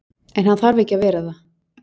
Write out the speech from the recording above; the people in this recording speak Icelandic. En hann þarf ekki að vera það.